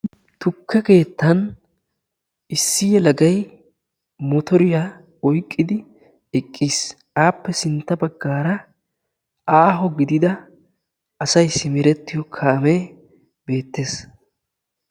Tukke keettan issi yelagayi motoriya oyqqidi eqqis. Appe sintta baggaara aaho gidida asayi simerettiyo kaamee beettes.